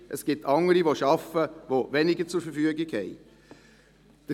Es gibt andere Personen, die arbeiten und weniger zur Verfügung haben.